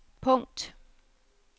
punkt